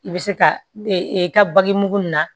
I bɛ se ka i ka bagi mugu nin na